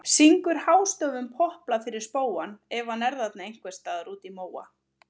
Syngur hástöfum popplag fyrir spóann ef hann er þarna ein- hvers staðar úti í móa.